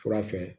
Fura fɛ